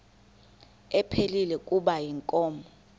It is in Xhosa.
ephilile kuba inkomo